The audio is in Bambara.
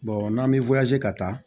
n'an bɛ ka taa